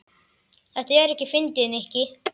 Þetta er ekkert fyndið, Nikki.